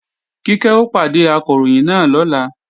Kíkẹ́ ó pàdé Akọ̀ròyìn náà lọ́la